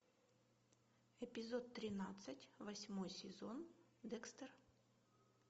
эпизод тринадцать восьмой сезон декстер